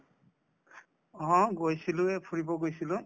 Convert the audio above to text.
অ, গৈছিলো এই ফুৰিব গৈছিলো